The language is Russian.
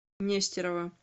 нестерова